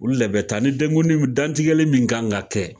Olu de bɛ taa ni dantigɛli min kan ka kɛ